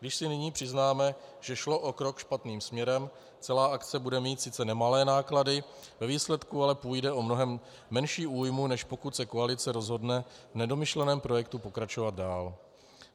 Když si nyní přiznáme, že šlo o krok špatným směrem, celá akce bude mít sice nemalé náklady, ve výsledku ale půjde o mnohem menší újmu, než pokud se koalice rozhodne v nedomyšleném projektu pokračovat dál.